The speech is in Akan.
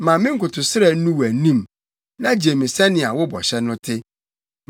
Ma me nkotosrɛ nnu wʼanim; na gye me sɛnea wo bɔhyɛ no te.